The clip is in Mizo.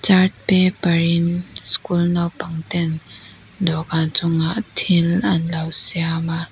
chart paper in school naupang ten dawhkan chungah thil an lo siam a.